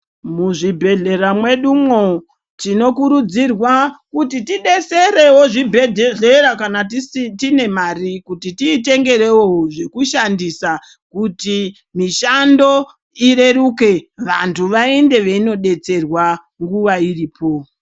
Muzvibhedhlera mwedumwo, tinokurudzirwa kuti tidetserewo zvibhedhlera kana tine mari kuti tiitengewo zvekushandisa, kuti mishando ireruke, vantu vaende veinodetserwa nguva iripo.